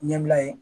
Ɲɛbila ye